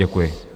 Děkuji.